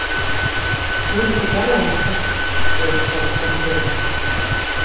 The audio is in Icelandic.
Auðvitað gerði hann þetta ekki- greip Stella fram í fyrir honum.